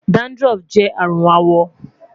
dandruff jẹ arun awọ